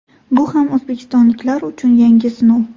Bu ham o‘zbekistonliklar uchun yangi sinov.